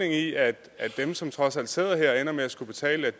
i at dem som trods alt sidder her og ender med at skulle betale